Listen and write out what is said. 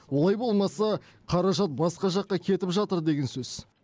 олай болмаса қаражат басқа жаққа кетіп жатыр деген сөз